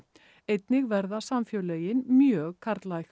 einnig verða samfélögin mjög karllæg